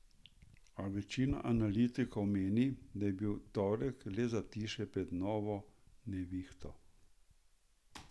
A večina analitikov meni, da je bil torek le zatišje pred novo nevihto.